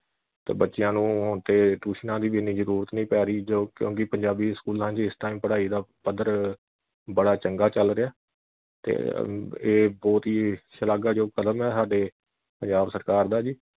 ਤੇ ਬੱਚਿਆਂ ਨੂੰ ਹੁਣ ਤੇ ਟਿਊਸ਼ਨਾਂ ਦੀ ਵੀ ਇੰਨੀ ਜ਼ਰੂਰਤ ਨਹੀਂ ਪੈ ਰਹੀ ਜੋ ਕਿਉਂਕਿ ਪੰਜਾਬੀ ਸਕੂਲਾਂ ਵਿੱਚ ਇਸ time ਪੜ੍ਹਾਈ ਦਾ ਪੱਧਰ ਬੜਾ ਚੰਗਾ ਚੱਲ ਰਿਹਾ ਤੇ ਅਮ ਇਹ ਬਹੁਤ ਹੀ ਸ਼ਲਾਘਾਯੋਗ ਕਦਮ ਐ ਹਾਡੇ ਪੰਜਾਬ ਸਰਕਾਰ ਦਾ ਜੀ